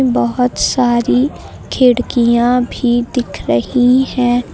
बहुत सारी खिड़कियां भी दिख रही है।